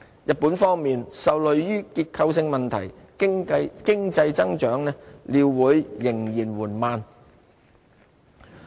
日本方面，受累於結構性問題，經濟增長料會仍然緩慢。